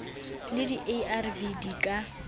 le di arv di ka